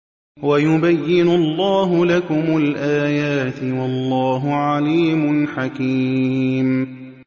وَيُبَيِّنُ اللَّهُ لَكُمُ الْآيَاتِ ۚ وَاللَّهُ عَلِيمٌ حَكِيمٌ